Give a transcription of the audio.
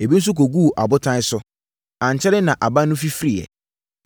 Ebi nso kɔguu abotan so. Ankyɛre na aba no fifiriiɛ.